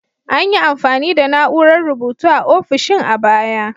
An yi amfani da na'urar rubutu a ofisoshin a baya.